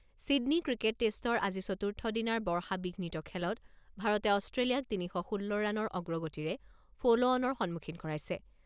Sydney cricket টেষ্টৰ আজি চতুৰ্থ দিনাৰ বৰ্ষাবিঘ্নিত খেলত ভাৰতে অষ্ট্ৰেলিয়াক তিনি শ ষোল্ল ৰাণৰ অগ্ৰগতিৰে ফ'ল'অনৰ সন্মুখীন কৰাইছে।